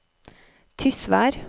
Tysvær